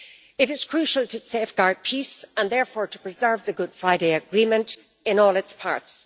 It is crucial to safeguard peace and, therefore, to preserve the Good Friday Agreement in all its parts.